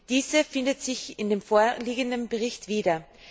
Diese findet sich in dem vorliegenden Bericht wieder.